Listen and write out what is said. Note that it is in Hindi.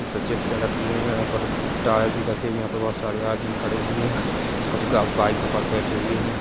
--स चिप्से रखी हुई है यहाँ पर टायर भी रखे हुए है यहाँ पर बहोत सारे आदमी खड़े हुए है कुछ गा बाइको पर बैठे हुए है।